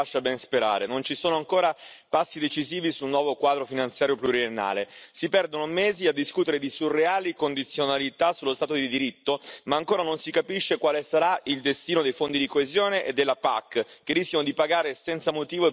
Non ci sono ancora passi decisivi sul nuovo quadro finanziario pluriennale. Si perdono mesi a discutere di surreali condizionalità sullo Stato di diritto ma ancora non si capisce quale sarà il destino dei fondi di coesione e della PAC, che rischiano di pagare senza motivo il prezzo della Brexit.